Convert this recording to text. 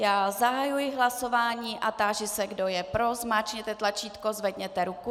Já zahajuji hlasování a táži se, kdo je pro, zmáčkněte tlačítko, zvedněte ruku.